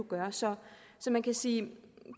gøre så man kan sige